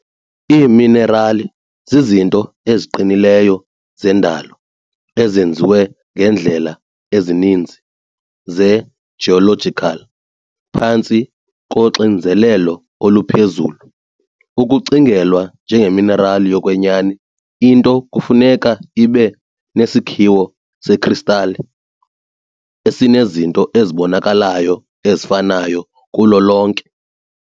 Iiminerali zizinto eziqinileyo zendalo ezenziwe ngeendlela ezininzi ze-geological phantsi koxinzelelo oluphezulu. Ukucingelwa njengeminerali yokwenyani, into kufuneka ibe nesakhiwo sekristale esinezinto ezibonakalayo ezifanayo kulo lonke.